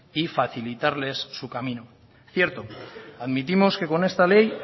y facilitarles su camino cierto admitimos que con esta ley